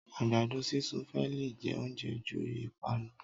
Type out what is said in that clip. agbadọ sisún fẹ lẹ jẹ oúnjẹ ju ipanu